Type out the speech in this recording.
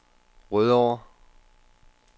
Rødovre